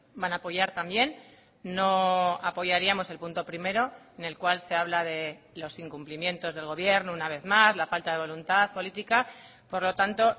van a apoyar también no apoyaríamos el punto primero en el cual se habla de los incumplimientos del gobierno una vez más la falta de voluntad política por lo tanto